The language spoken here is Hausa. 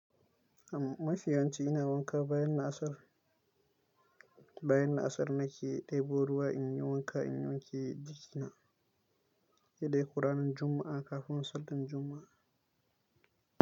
Mafi yanci ina wanka bayan la'asar, bayan la'asar nake ɗebo ruwa in yi wanka in wanke jikina. Dai dai lokacin Juma'a kafin Sallar Juma'a.